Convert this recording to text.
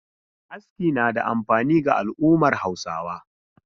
Aski na da amfani ga al'ummar Hausawa.